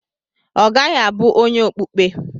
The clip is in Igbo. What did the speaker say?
Ọ gaghị abụ onye okpukpe.